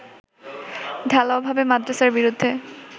ঢালাও ভাবে মাদ্রাসার বিরুদ্ধে